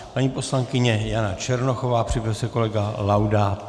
Paní poslankyně Jana Černochová, připraví se kolega Laudát.